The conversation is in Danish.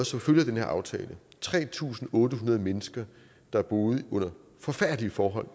som følge af den her aftale blevet tre tusind otte hundrede mennesker der boede under forfærdelige forhold